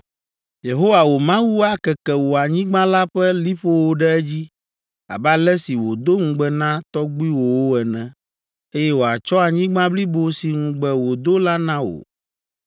“Yehowa wò Mawu akeke wò anyigba la ƒe liƒowo ɖe edzi abe ale si wòdo ŋugbe na tɔgbuiwòwo ene, eye wòatsɔ anyigba blibo si ŋugbe wòdo la na wò.